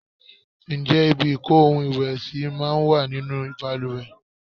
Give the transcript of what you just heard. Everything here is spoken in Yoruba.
Ǹjẹ́ ibi ìko ohun ìwẹ̀ sì máa ń wà nínú bàlùwẹ̀?